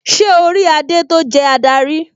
Ṣé orí adé tó jẹ́ adarí?